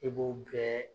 I b'o bɛɛ